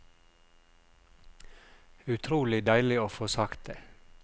Utrolig deilig å få sagt det.